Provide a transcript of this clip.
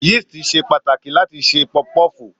Yíìstì ṣe pàtàkì láti ṣe Pọfupọ́ọ̀fù.